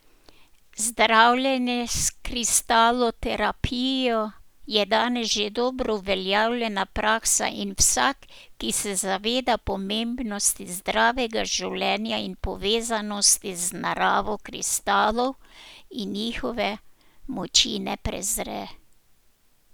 Zdravljenje s kristaloterapijo je danes že dobro uveljavljena praksa in vsak, ki se zaveda pomembnosti zdravega življenja in povezanosti z naravo, kristalov in njihove moči ne prezre.